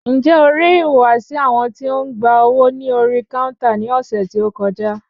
Ǹjẹ́ o rí ìhùwàsí àwọn tí ń gba owó ní orí káúntà ní ọ̀sẹ̀ tí o kọjá?